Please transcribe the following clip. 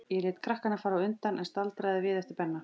Ég lét krakkana fara á undan, en staldraði við eftir Benna.